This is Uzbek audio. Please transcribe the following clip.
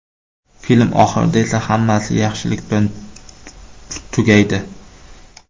Film oxirida esa hammasi yaxshilik bilan tugaydi.